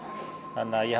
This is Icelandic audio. ég